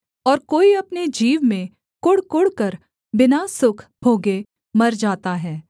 और कोई अपने जीव में कुढ़कुढ़कर बिना सुख भोगे मर जाता है